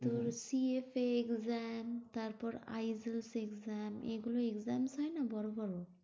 তোর C F A exam তারপর I S L exam এগুলো exams হয় না, বড়ো বড়ো